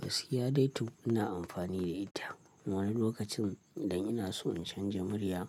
Gaskiya dai tu ina amfani da ita. Wani lokacin idan ina so in canja murya